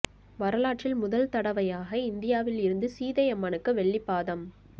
வரலாற்றில் முதல் தடைவையாக இந்தியாவில் இருந்து சீதை அம்மனுக்கு வெள்ளி பாதம்